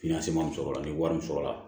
sɔrɔla ni wari in sɔrɔ la